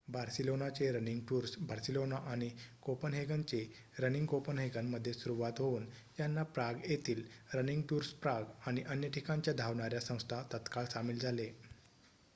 "बार्सिलोनाचे running tours Barcelona आणि कोपेनहेगनचे "running Copenhagen" मध्ये सुरुवात होऊन यांना प्राग येथील रनिंग टुर्सप्राग आणि अन्य ठिकाणच्या धावणाऱ्या संस्था तत्काळ सामील झाले.